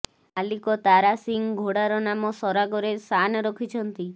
ମାଲିକ ତାରା ସିଂ ଘୋଡ଼ାର ନାମ ସରାଗରେ ଶାନ୍ ରଖିଛନ୍ତି